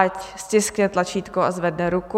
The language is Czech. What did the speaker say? Ať stiskne tlačítko a zvedne ruku.